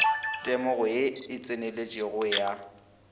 temogo ye e tseneletšego ya